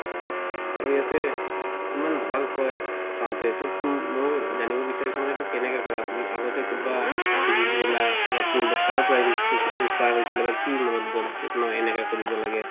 আৰু ইয়াতে ইমান ভাল হয় চাওঁতে ত মই এইটো জানিব বিচাৰিছো তুমি এইটো কেনেকে কৰা আগতে কৰোবাত শিকিছিলা বা কাৰ পাই inspired হৈছিলা বা কি মনত গল যে মই এনেকা কৰিব লাগে